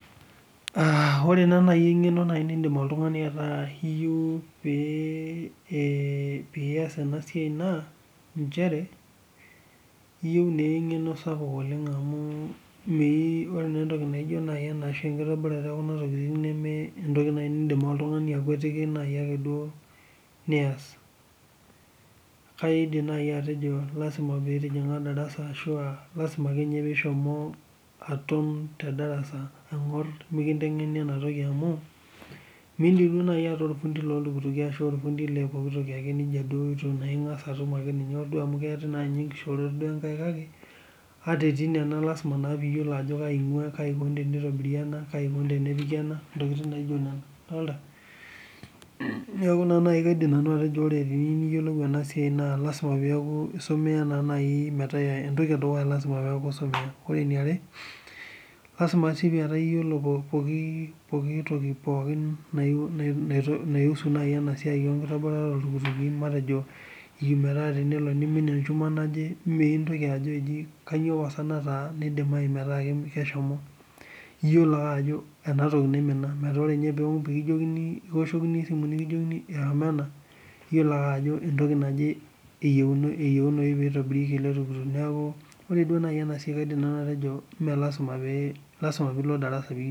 Ore naa nai ing'eno niindim nai oltungani ataa iyeu piiyaas ena siai ino naa inchere, iyeu naa eng'eno sapuk oleng amu mee naa enatoki nijo nai enkitobirare eekuna tokitin nemee entoki nai nindim ake oltungani akwetiki naai ake duo niyas. Kaidim nai atejo lasima nitijing'a ildarasa ashu aalasima ake ninye pee ishomo atum to indarasa angas mikinteng'eni enatoki amuu nilotu nai ata ilpundi ashu ilpundi le pooki toki ake neja duo naa ingas atum ake ninye ajo amu ketii naa ninye nkishoorot kake ataa etii nena naa lasima naa piiyolou ajo kaji eikoni teneitobiri ena, kaji eikoni tenepiki ana, intokitin naijo nena idolita. Naaku nai Kaidim nanu atejo ore teniyiolou ena siai naa lasima peaku isumie naa nai metaa entoki edukuya naa lasima peaku isumiya. Kore neare, lasima sii petaa iyiolo pooki toki, pooki naisu nai ena siai enkitobirare oltukituki matejo tenaa tenelo neimin olchum loji naje, mee intoki ajo eji kanyio pasa nataa naidimayu metaa keshomo. Iyolo ake ajo enatoki naimina ,metaa ore ninye tenitum peekijokini pekioshokini esimu nikijokini nena ,niyolou ake ajo entoki naje eyeunii peitobirieki iltuktuk, naaku ore naa dei ena siai Kaidim nanu atejo mee lasima pee, lasima piilo ildarasa pee.